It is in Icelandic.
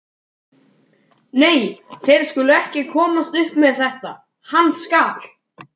Nei, þeir skulu ekki komast upp með þetta, hann skal.